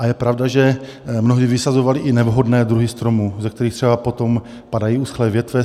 A je pravda, že mnohdy vysazovali i nevhodné druhy stromů, ze kterých třeba potom padají uschlé větve.